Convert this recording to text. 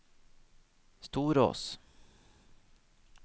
Storås